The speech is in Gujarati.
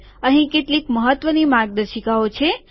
અહીં કેટલીક મહત્વની માર્ગદર્શિકાઓ છે